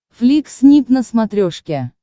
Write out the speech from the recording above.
флик снип на смотрешке